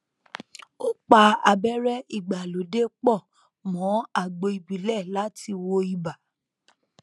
ó pa abẹrẹ ìgbàlódé pọ mọ àgbo ìbílẹ láti wo ibà